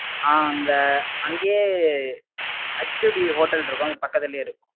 ஆஹ் அங்க அங்கேயே HtwoBhotel இருக்கும் அதுக்கு பக்கத்திலேயே இருக்கு